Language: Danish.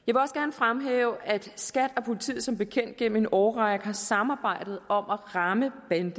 fremhæve at skat og politiet som bekendt gennem en årrække har samarbejdet om at ramme bande